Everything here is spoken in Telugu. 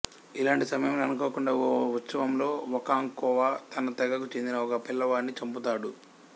ఇలాంటి సమయంలో అనుకోకుండా ఓ ఉత్సవంలో ఒకాంక్వొ తన తెగకు చెందిన ఒక పిల్లవాడిని చంపుతాడు